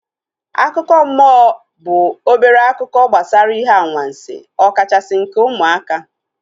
Akụkọ mmụọ bụ obere akụkọ gbasara ihe anwansi ọ kachasị nke ụmụaka